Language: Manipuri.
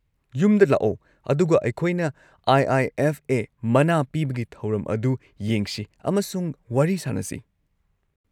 ꯌꯨꯝꯗ ꯂꯥꯛꯑꯣ ꯑꯗꯨꯒ ꯑꯩꯈꯣꯏꯅ ꯑꯥꯏ.ꯑꯥꯏ.ꯑꯦꯐ.ꯑꯦ. ꯃꯅꯥ ꯄꯤꯕꯒꯤ ꯊꯧꯔꯝ ꯑꯗꯨ ꯌꯦꯡꯁꯤ ꯑꯃꯁꯨꯡ ꯋꯥꯔꯤ ꯁꯥꯅꯁꯤ꯫